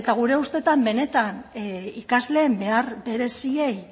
gure ustetan benetan ikasleen behar bereziei